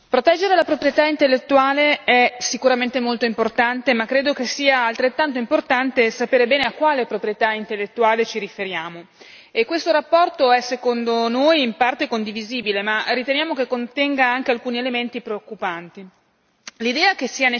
Signor Presidente, onorevoli colleghi, proteggere la proprietà intellettuale è sicuramente molto importante, ma credo che sia altrettanto importante sapere bene a quale proprietà intellettuale ci riferiamo. E questa relazione è secondo noi in parte condivisibile, ma riteniamo che contenga anche alcuni elementi preoccupanti.